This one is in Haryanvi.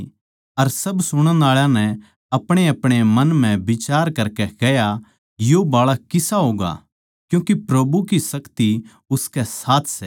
अर सब सुणण आळा नै अपणेअपणे मन म्ह विचार करकै कह्या यो बाळक किसा होगा क्यूँके प्रभु की शक्ति उसकै साथ सै